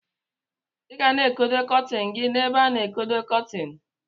Igana ekodo kọtin gi na ebe ana ekodo kọtin.